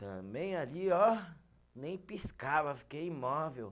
Também ali, ó, nem piscava, fiquei imóvel.